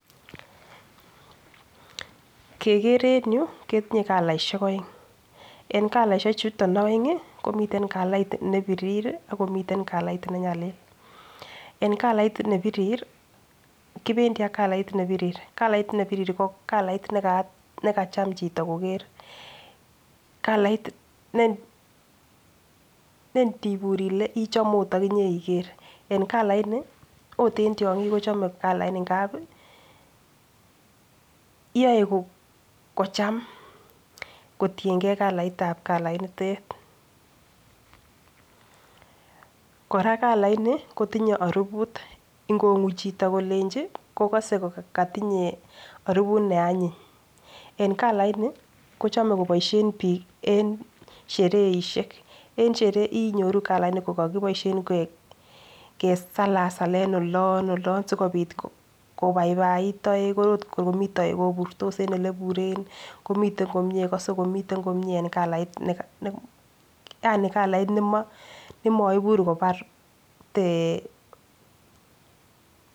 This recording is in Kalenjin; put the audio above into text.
Kekere en yuu ketinye kalaishek oeng en kalaishek chuton oengi komiten kalait nepirir ak komiten kalait nenyalil, en kalait nepirir kopendii ak kalait nepirir kalit nepirir ko kalait nekaa nekacham chito koker. Kalait ne ne ndibur Ile chome okot okinyee iker en kalait nii ot en tyonkik kochome kalait nii ngapi yoe kocham kotiyengee kalaitab kalainitet. Koraa kalait nii kotinye oruput nkongu chito kolenjin ko kose kotinye oribu ne anyiny en kalit nii ko chome koboishen bik en shereishek, en Sheree inyoruu kalait nii ko kokiboishen koik kesalasalen olon olon sikopit kobaibait toek kor ot komii toek koburtos en oleibure komiten komie kose komiten komie en kalait neka nemo yaani kalait nemo nemoibur kobar thee.